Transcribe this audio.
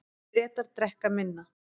Bretar drekka minna